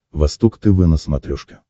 восток тв на смотрешке